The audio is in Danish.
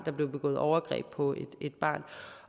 er blevet begået overgreb på et barn